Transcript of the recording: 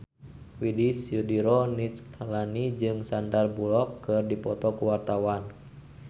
Widy Soediro Nichlany jeung Sandar Bullock keur dipoto ku wartawan